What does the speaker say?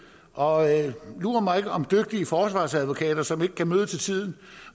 og lur mig om ikke dygtige forsvarsadvokater som ikke kan møde til tiden